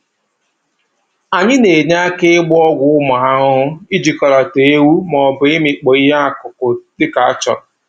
Anyị na-enye aka ịgba ọgwụ ụmụ ahụhụ, ijikọlata ewu, maọbụ ịmịkpọ ihe akụkụ dịka a chọrọ